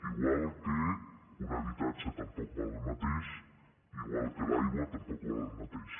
igual que un ha·bitatge tampoc val el mateix igual que l’aigua tampoc val el mateix